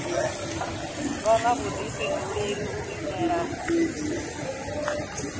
vha na vhuḓifhinduleli u itela